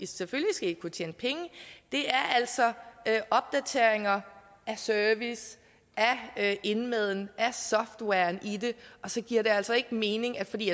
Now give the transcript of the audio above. selvfølgelig skal i kunne tjene penge er altså opdateringer af service af indmaden af softwaren i den og så giver det altså ikke mening at fordi